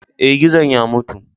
Eh, gizon ya mutu.